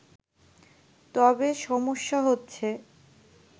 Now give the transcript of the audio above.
তবে সমস্যা হচ্ছে